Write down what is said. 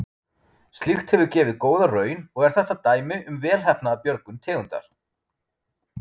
Slíkt hefur gefið góða raun og er þetta dæmi um velheppnaða björgun tegundar.